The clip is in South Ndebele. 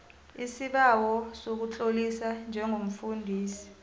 isibawo sokutloliswa njengomfundisi